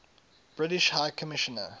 british high commissioner